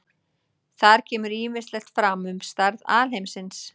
Þar kemur ýmislegt fram um stærð alheimsins.